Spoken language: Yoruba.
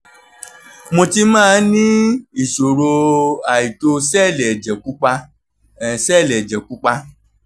mo ti máa ń ní ìṣòro àìtó sẹ́ẹ̀lì ẹ̀jẹ̀ pupa sẹ́ẹ̀lì ẹ̀jẹ̀ pupa